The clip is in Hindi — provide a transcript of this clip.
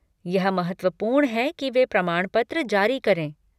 यह महत्वपूर्ण है कि वे प्रमाणपत्र जारी करें।